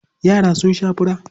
Yara sun sha fura.